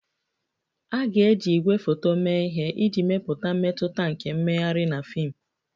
A ga-eji igwefoto mee ihe iji mepụta mmetụta nke mmegharị na fim